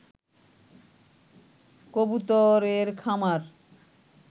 কবুতর এর খামার